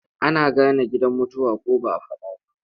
Ana gane gidan mutuwa ko ba a faɗa ba.